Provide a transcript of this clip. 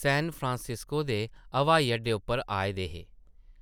San Francisco दे हवाई-अड्डे उप्पर आए दे हे ।